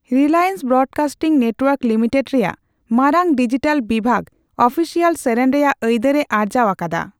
Reliance broadcasting network limited ᱨᱮᱭᱟᱜ ᱢᱟᱨᱟᱝ digital ᱵᱤᱵᱷᱟᱜᱽ ᱚᱯᱷᱤᱥᱤᱭᱟᱞ ᱥᱮᱨᱮᱧ ᱨᱮᱭᱟᱜ ᱟᱹᱭᱫᱟᱹᱨᱮ ᱟᱨᱡᱟᱣ ᱟᱠᱟᱫᱟ ᱾